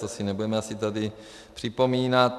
To si nebudeme asi tady připomínat.